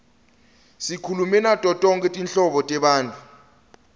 sikhulume nato tonkhe tinhlobo tebantfu